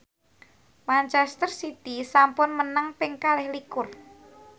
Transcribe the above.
manchester city sampun menang ping kalih likur